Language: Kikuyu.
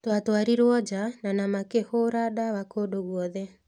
"Twatwarirũo nja na na makĩhũũra ndawa kũndũ guothe.